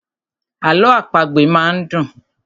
Àlọ àpagbè máa ń dùn.